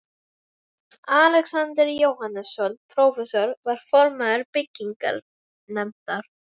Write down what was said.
Alexander Jóhannesson, prófessor, var formaður byggingarnefndar